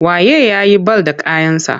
Wa ye ya yi bal da kayansa?